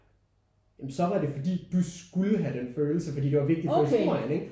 Ja men så var det fordi du skulle have den følelse fordi det var vigtigt for historien ikke?